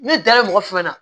Ne dalen mɔgɔ fɛn fɛn na